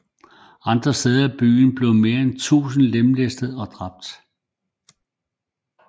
Andre steder i byen blev mere end tusind lemlæstet og dræbt